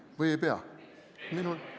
Või ei pea?